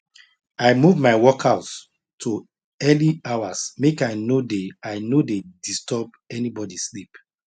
i move my workout to early hours make i no dey i no dey disturb anybody sleep